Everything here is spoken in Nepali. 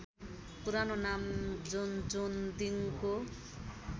पुरानो नाम जोन्जोन्दिङको